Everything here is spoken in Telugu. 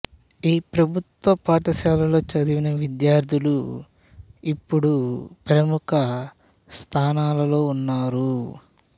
ఈ ప్రభుత్వ పాఠశాలలో చదివిన విద్యార్థులు ఇప్పుడు ప్రముఖ స్థానాలలో ఉన్నారు